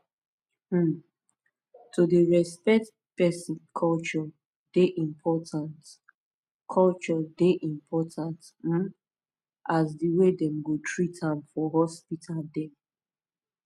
um to dey respect person culture dey important culture dey important um as the way dem go treat am for hospital dem